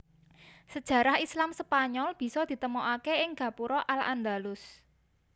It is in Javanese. Sajarah Islam Spanyol bisa ditemokaké ing gapura al Andalus